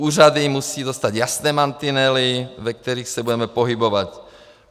Úřady musí dostat jasné mantinely, ve kterých se budeme pohybovat.